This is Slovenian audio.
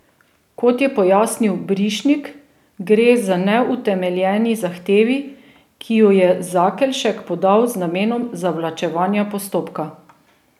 Kot je pojasnil Brišnik, gre za neutemeljeni zahtevi, ki ju je Zakelšek podal z namenom zavlačevanja postopka.